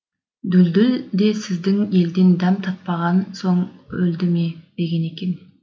дүлдүл де сіздің елден дәм татпаған соң өлді ме деген екен